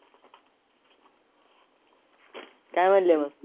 काय म्हणले मंग?